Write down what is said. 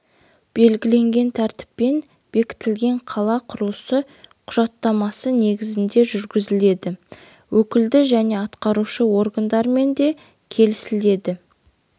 белгіленген тәртіппен бекітілген қала құрылысы құжаттамасы негізінде жүргізіледі өкілді және атқарушы органдарымен де келісіледі